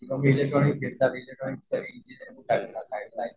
किंवा इलेक्ट्रॉनिक